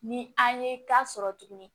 Ni an ye ka sɔrɔ tuguni